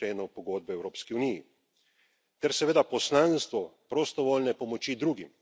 2. členu Pogodbe o Evropski uniji, ter seveda poslanstvu prostovoljne pomoči drugim.